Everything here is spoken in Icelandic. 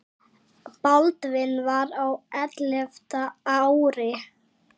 Baldvin var á ellefta ári.